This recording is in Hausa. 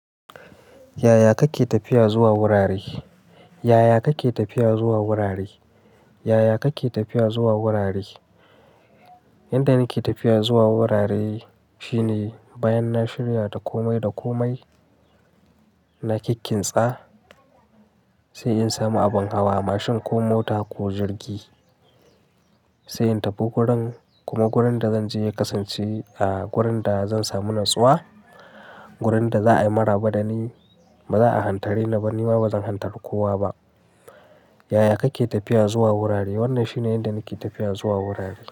Yaya kake tafiya zuwa wurare? Yaya kake tafiya zuwa wurare? Yaya kake tafiya zuwa wurare? Inda nake tafiya zuwa wurare shine bayan na shirya dakomai dakomai, na kikkinsa sai in samu abin hawa mashin ko mota ko jirgi sai in tafi wurin. Kuma wurin da zanje ya kasance ah wurin da zan samu natsuwa, wurin da za a yi maraba dani ba za a hantare ni ba ni ma bazan hantarar kowa ba. Yaya kake tafiya zuwa wurare? Wannan shine inda nake tafiya zuwa wurare.